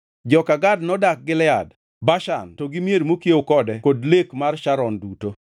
Joka Gad nodak Gilead, Bashan to gi mier mokiewo kode kod lek mar Sharon duto.